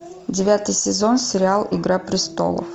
девятый сезон сериал игра престолов